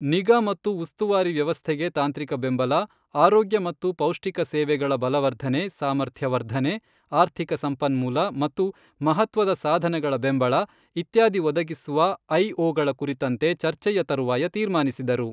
ನಿಗಾ ಮತ್ತು ಉಸ್ತುವಾರಿ ವ್ಯವಸ್ಥೆಗೆ ತಾಂತ್ರಿಕ ಬೆಂಬಲ, ಆರೋಗ್ಯ ಮತ್ತು ಪೌಷ್ಟಿಕ ಸೇವೆಗಳ ಬಲವರ್ಧನೆ, ಸಾಮರ್ಥ್ಯ ವರ್ಧನೆ, ಆರ್ಥಿಕ ಸಂಪನ್ಮೂಲ ಮತ್ತು ಮಹತ್ವದ ಸಾಧನಗಳ ಬೆಂಬಳ ಇತ್ಯಾದಿ ಒದಗಿಸುವ ಐಓಗಳ ಕುರಿತಂತೆ ಚರ್ಚೆಯ ತರುವಾಯ ತೀರ್ಮಾನಿಸಿದರು.